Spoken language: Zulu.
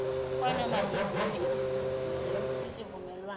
kwanoma yiziphi izivumelwano